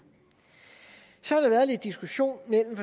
så har der været lidt diskussion mellem